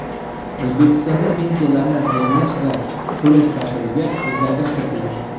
O‘zbekistonda pensiyalarni tayinlash va to‘lash tartibiga o‘zgartirish kiritildi.